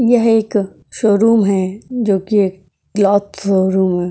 यह एक शोरूम है जोकि एक क्लॉथ शोरूम है।